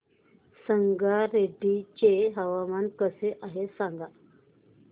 संगारेड्डी चे हवामान कसे आहे सांगा